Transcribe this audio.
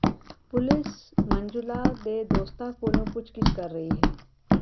police Manjula ਦੇ ਦੋਸਤਾਂ ਕੋਲੋਂ ਪੁਛਗਿੱਛ ਕਰ ਰਹੀ ਹੈ